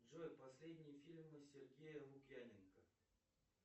джой последние фильмы сергея лукьяненко